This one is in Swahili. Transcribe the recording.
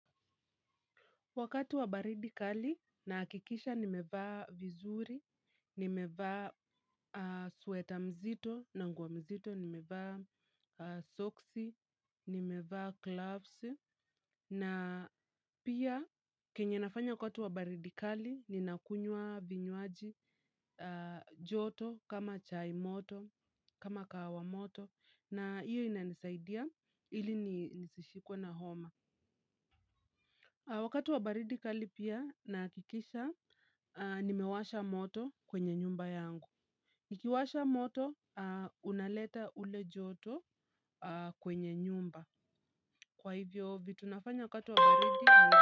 Wakati wa baridi kali nahakikisha nimevaa vizuri, nimevaa sweta mzito na nguo mzito, nimevaa soksi, nimevaa glavsi. Na pia kenye nafanya kwa wakati wa baridikali ni ninakunywa vinywaji joto kama chai moto, kama kahawa moto na iyo ina nisaidia ili nisishikwe na homa wakati wa baridi kali pia nahakikisha nimewasha moto kwenye nyumba yangu nikiwasha moto unaleta ule joto kwenye nyumba kwa hivyo vitu nafanya wakati wa baridi.